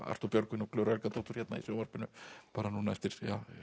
Arthúr Björgvin og Klöru Helgadóttur hérna í sjónvarpinu bara eftir